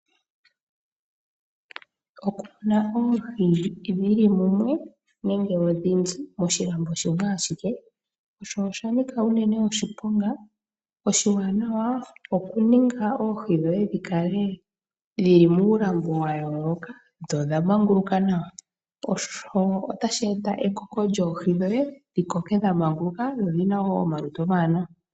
Okumuna oohi dhili mumwe nenge odhindji moshilambo shimwe ashike oshanika uunene oshiponga . Oshiwanawa okuninga oohi dhoye dhikale dhili muulambo wayooloka dho odha manguluka nawa , osho tashi eta ekoki lyoohi dhoye dhikoke dhamaanguluka dho odhina woo omalutu omawanawa.